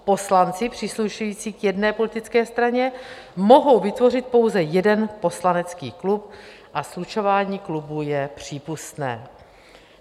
Poslanci příslušející k jedné politické straně mohou vytvořit pouze jeden poslanecký klub a slučování klubů je přípustné."